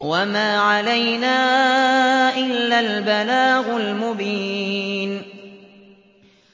وَمَا عَلَيْنَا إِلَّا الْبَلَاغُ الْمُبِينُ